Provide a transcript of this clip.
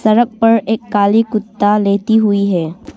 सड़क पर एक काली कुत्ता लेटी हुई है।